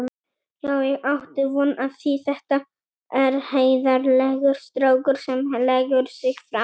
Já ég átti von á því, þetta er heiðarlegur strákur sem leggur sig fram.